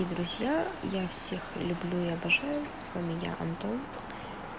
и друзья я всех люблю и обожаю с вами я антон